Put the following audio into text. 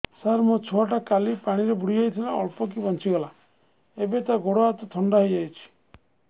ସାର ମୋ ଛୁଆ ଟା କାଲି ପାଣି ରେ ବୁଡି ଯାଇଥିଲା ଅଳ୍ପ କି ବଞ୍ଚି ଗଲା ଏବେ ତା ଗୋଡ଼ ହାତ ଥଣ୍ଡା ହେଇଯାଉଛି